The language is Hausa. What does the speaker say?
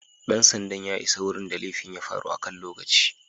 Dan sandan ya isa wurin da laifin ya faru akan lokaci.